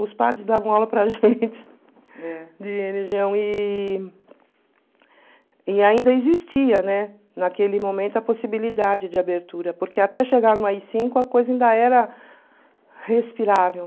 Os padres davam aula para a gente de e e ainda existia naquele momento a possibilidade de abertura, porque até chegar no a coisa ainda era respirável.